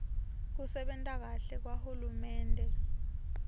kusebenta kahle kwahulumende